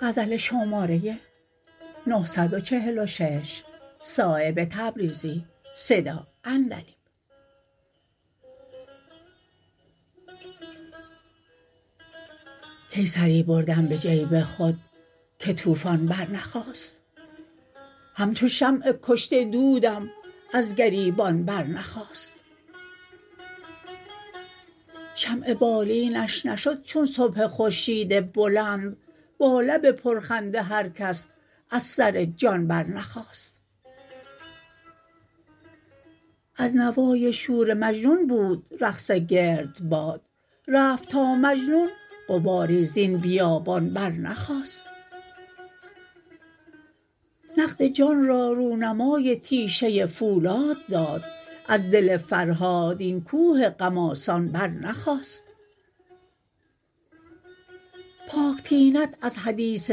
کی سری بردم به جیب خود که طوفان برنخاست همچو شمع کشته دودم از گریبان برنخاست شمع بالینش نشد چون صبح خورشید بلند با لب پرخنده هر کس از سر جان برنخاست از نوای شور مجنون بود رقص گردباد رفت تا مجنون غباری زین بیابان برنخاست نقد جان را رونمای تیشه فولاد داد از دل فرهاد این کوه غم آسان برنخاست پاک طینت از حدیث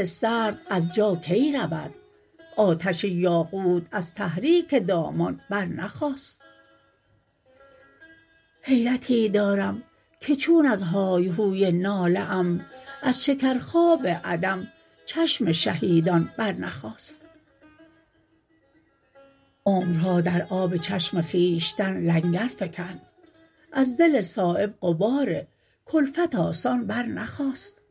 سرد از جا کی رود آتش یاقوت از تحریک دامان برنخاست حیرتی دارم که چون از های هوی ناله ام از شکر خواب عدم چشم شهیدان برنخاست عمرها در آب چشم خویشتن لنگر فکند از دل صایب غبار کلفت آسان برنخاست